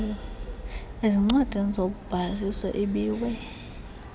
ezincwadini zobhaliso ibiwe